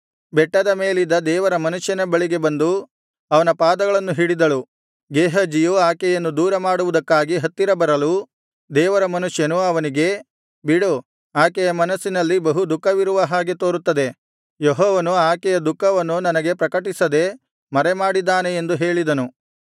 ಬೆಟ್ಟದ ಮೇಲಿದ್ದ ದೇವರ ಮನುಷ್ಯನ ಬಳಿಗೆ ಬಂದು ಅವನ ಪಾದಗಳನ್ನು ಹಿಡಿದಳು ಗೇಹಜಿಯು ಆಕೆಯನ್ನು ದೂರ ಮಾಡುವುದಕ್ಕಾಗಿ ಹತ್ತಿರ ಬರಲು ದೇವರ ಮನುಷ್ಯನು ಅವನಿಗೆ ಬಿಡು ಆಕೆಯ ಮನಸ್ಸಿನಲ್ಲಿ ಬಹು ದುಃಖವಿರುವ ಹಾಗೆ ತೋರುತ್ತದೆ ಯೆಹೋವನು ಆಕೆಯ ದುಃಖವನ್ನು ನನಗೆ ಪ್ರಕಟಿಸದೆ ಮರೆಮಾಡಿದ್ದಾನೆ ಎಂದು ಹೇಳಿದನು